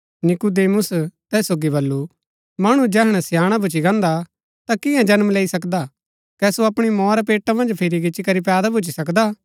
नीकुदेमुस तैस सोगी वलू मणु जैहणै स्याणा भूच्ची गान्दा ता कियां जन्म लैई सकदा कै सो अपणी मोआ रै पेटा मन्ज फिरी गिचीकरी पैदा भूच्ची सकदा हा